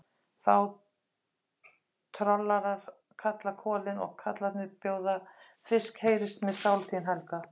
Þá trollarar kalla kolin, og karlarnir bjóða fisk, heyrist mér sál þín, Helga!